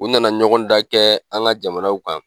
U na na ɲɔgɔn dan kɛ an ka jamanaw kan.